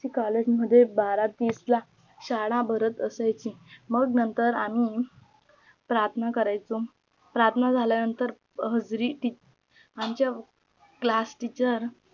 COLLEGE मध्ये बरहा तीस ला सावळा भारत अशी माघ नंतर मी प्रार्थना कराची प्रार्थना झालीनंतर हजरी ती आमच्या class teacher